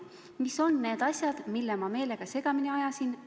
Mis on need asjad, mis ma meelega segamini ajasin?